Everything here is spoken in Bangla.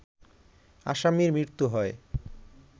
আসামির মৃত্যু হয়